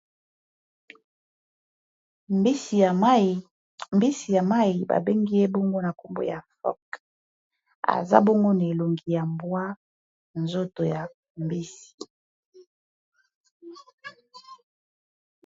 mbisi ya mai babengi ebongo na nkombo ya pok aza bongo na elongi ya mbwa nzoto ya mbisi